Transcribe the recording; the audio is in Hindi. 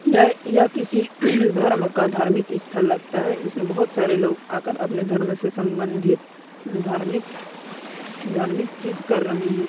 यह यह किस धर्म का धार्मिक स्थल लगता है इसमें बहुत सारे लोग आकर अपने धर्म से संबंधित धार्मिक धार्मिक चीज कर रहे है।